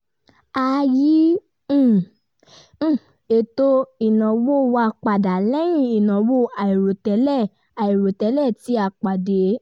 a yí um ètò ìnáwó wa padà lẹ́yìn ìnáwó àìròtẹ́lẹ̀ àìròtẹ́lẹ̀ tí a pàdé